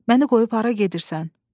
Məni qoyub hara gedirsən?